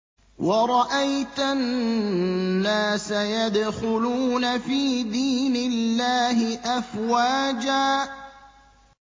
وَرَأَيْتَ النَّاسَ يَدْخُلُونَ فِي دِينِ اللَّهِ أَفْوَاجًا